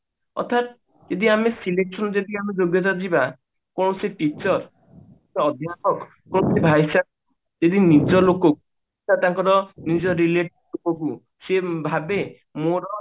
ଅର୍ଥାତ ଯଦି ଆମେ selection ଦେଖି ଆମେ ଯୋଗ୍ୟତା ଯିବା କୌଣସି teacher ବା ଅଧ୍ୟାପକ ଯଦି ନିଜ ଲୋକକୁ ବା ତାଙ୍କର ନିଜ relative ଙ୍କୁ ସିଏ ଭାବେ ମୋର